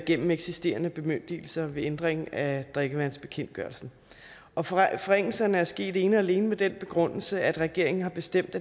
gennem eksisterende bemyndigelser ved ændring af drikkevandsbekendtgørelsen og forringelserne er sket ene og alene med den begrundelse at regeringen har bestemt